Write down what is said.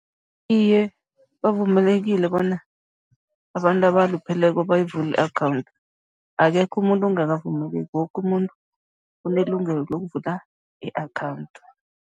Iye, bavumelekile bona abantu abalupheleko bayivule i-akhawundi, akekho umuntu ongakavumeleki, woke umuntu unelungelo lokuvula i-akhawundi.